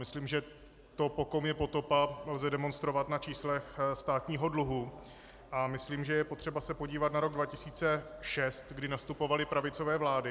Myslím, že to, po kom je potopa, lze demonstrovat na číslech státního dluhu, a myslím, že je potřeba se podívat na rok 2006, kdy nastupovaly pravicové vlády.